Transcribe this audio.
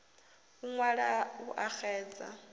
u ṅwala u a xedza